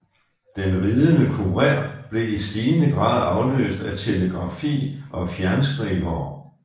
Den ridende kurér blev i stigende grad afløst af telegrafi og fjernskrivere